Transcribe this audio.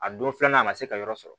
A don filanan a ma se ka yɔrɔ sɔrɔ